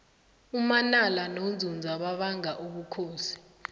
umanala nonzunza babanga ubukhosi